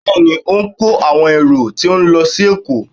Bẹẹni, o n ko awọn erò ti n lọ si Èko.